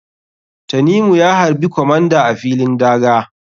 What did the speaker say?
Tanimu ya harɓi comander a filin daga.